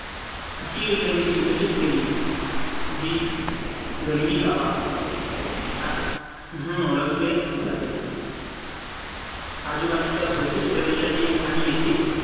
अशी युद्धनीती विकसित केली जी गणवी काबा म्हणून ओळखले जाते. आजूबाजूच्या भौतिक प्रदेशाचे आणि येथील